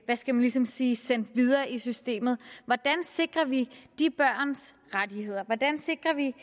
skal man ligesom sige sendt videre i systemet hvordan sikrer vi de børns rettigheder hvordan sikrer vi